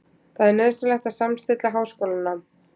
Það er nauðsynlegt að samstilla háskólanám